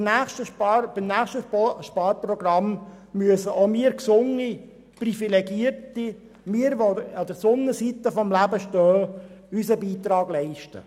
Beim nächsten Sparprogramm müssen auch wir Gesunde, Privilegierte – wir, die wir uns auf der Sonnenseite des Lebens befinden – unseren Beitrag leisten.